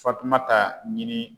Fatumata ɲini